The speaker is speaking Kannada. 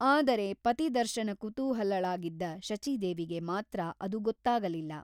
ಆದರೆ ಪತಿ ದರ್ಶನ ಕುತೂಹಲಳಾಗಿದ್ದ ಶಚೀದೇವಿಗೆ ಮಾತ್ರ ಅದು ಗೊತ್ತಾಗಲಿಲ್ಲ.